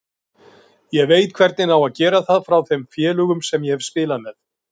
Ég veit hvernig á að gera það frá þeim félögum sem ég hef spilað með.